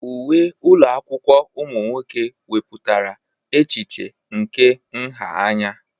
Uwe ụlọ akwụkwọ ụmụ nwoke wepụtara echiche nke nha anya.